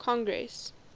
congress